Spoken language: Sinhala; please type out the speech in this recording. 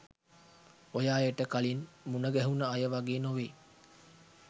ඔය අයට කලින් මුන ගැහුන අය වගේ නොවෙයි.